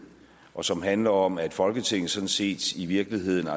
og som handler om at folketinget sådan set i virkeligheden